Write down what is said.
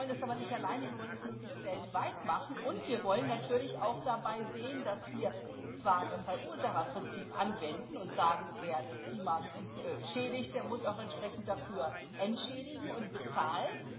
Wir wollen es aber nicht alleine, wir wollen das möglichst weltweit machen, und wir wollen natürlich auch dabei sehen, dass wir zwar das Verursacherprinzip anwenden und sagen Wer das Klima schädigt, der muss auch entsprechend dafür entschädigen und bezahlen.